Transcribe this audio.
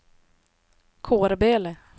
Kårböle